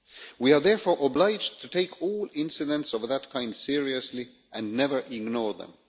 We are therefore obliged to take all incidents of that kind seriously and never ignore them.